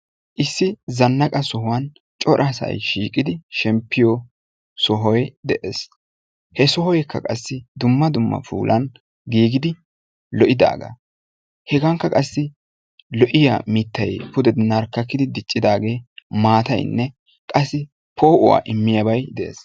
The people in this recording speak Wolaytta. Issi zannaqa sohuwan cora asay shiiqidi shemppiyo sohoy de'ees. He sohoykka qassi dumma dumma puulan giigidi lo"idaaga. Hegankka qassi lo"iyaa mittay pude narkkakkidi diccidaage maataynne qassi poo'uwa immiyaabay de'ees.